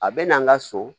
A bɛ na an ka so